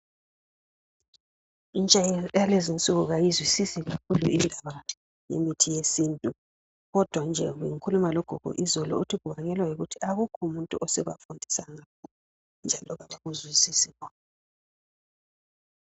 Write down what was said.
Intsha yalezi insuku kayizwisisi kakhulu indaba yemithi yesintu. Kodwa nje bengikhuluma logogo izolo, uthi kubangelwa yikuthi akukho muntu osebafundisa ngakho, njalo kabakuzwisisi bona.